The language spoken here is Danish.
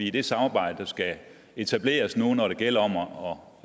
i det samarbejde der skal etableres nu når det gælder